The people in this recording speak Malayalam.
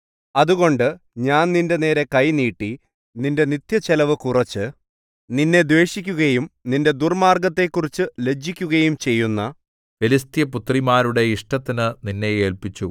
അതുകൊണ്ട് ഞാൻ നിന്റെനേരെ കൈ നീട്ടി നിന്റെ നിത്യച്ചെലവു കുറച്ച് നിന്നെ ദ്വേഷിക്കുകയും നിന്റെ ദുർമ്മാർഗ്ഗത്തെക്കുറിച്ചു ലജ്ജിക്കുകയും ചെയ്യുന്ന ഫെലിസ്ത്യപുത്രിമാരുടെ ഇഷ്ടത്തിനു നിന്നെ ഏല്പിച്ചു